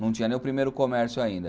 Não tinha nem o primeiro comércio ainda.